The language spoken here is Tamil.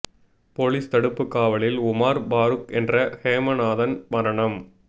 போலீஸ் தடுப்புக் காவலில் உமார் பாருக் என்ற ஹெமநாதன் மரணம்